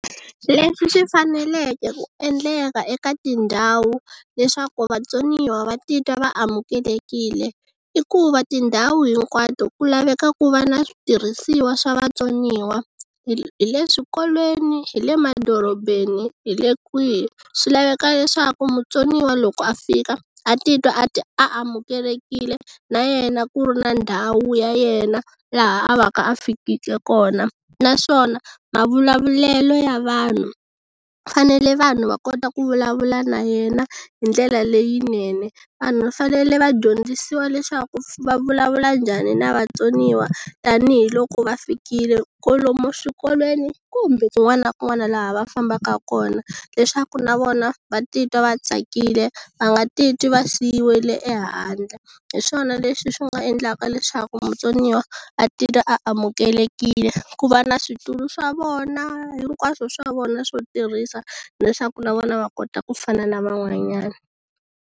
Leswi swi faneleke ku endleka eka tindhawu leswaku vatsoniwa va titwa va amukelekile i ku va tindhawu hinkwato ku laveka ku va ni switirhisiwa swa vatsoniwa hi le swikolweni hi le madorobeni hi le kwihi swi laveka leswaku mutsoniwa loko a fika a titwa a ti a amukelekile na yena ku ri na ndhawu ya yena laha a va ka a fikile kona naswona mavulavulelo ya vanhu fanele vanhu va kota ku vulavula na yena hi ndlela leyinene vanhu va fanele va dyondzisiwa leswaku va vulavula njhani na vatsoniwa tanihiloko va fikile kolomo swikolweni kumbe kun'wana na kun'wana laha va fambaka kona leswaku na vona va titwa va tsakile va nga titwi va siyiwile ehandle hiswona leswi swi nga endlaka leswaku mutsoniwa a titwa a amukelekile ku va na switulu swa vona hinkwaswo swa vona swo tirhisa leswaku na vona va kota ku fana na van'wanyana.